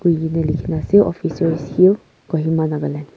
likhina ase Officers Hill Kohima Nagaland .